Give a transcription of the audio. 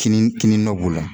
Kinin kinin dɔ b'u la